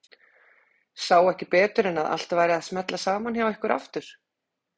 Sá ekki betur en að allt væri að smella saman hjá ykkur aftur.